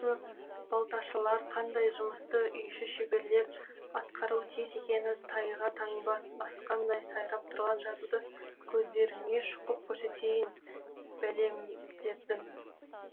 балташылар қандай жұмысты үйші шеберлер атқаруы тиіс екені тайға таңба басқандай сайрап тұрған жазуды көздеріне шұқып көрсетейін бәлемдердің